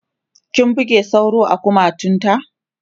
ki buge sauro a kumatun ta!